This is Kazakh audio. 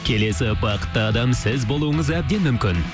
келесі бақытты адам сіз болуыңыз әбден мүмкін